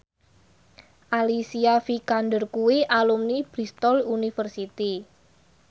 Alicia Vikander kuwi alumni Bristol university